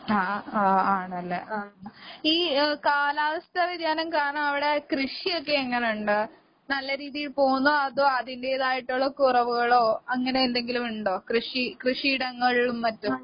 ആഹ് ആഹ് ആഹ് ആണ്ല്ലേ? ഈ ഏ കാലാവസ്ഥാ വ്യതിയാനം കാരണവടെ കൃഷിയൊക്കെ എങ്ങനിണ്ട്? നല്ല രീതി പോകുന്നോ അതോ അതിന്റേതായിട്ടൊള്ള കുറവുകളോ അങ്ങനെയെന്തെങ്കിലുവുണ്ടോ? കൃഷി കൃഷിയിടങ്ങളിലും മറ്റും.